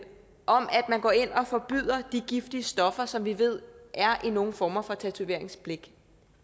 man går ind og forbyder de giftige stoffer som vi ved er i nogle former for tatoveringsblæk